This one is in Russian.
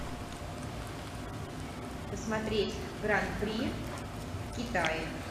посмотреть гран при в китае